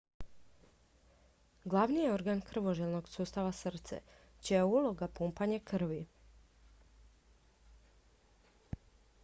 glavni je organ krvožilnog sustava srce čija je uloga pumpanje krvi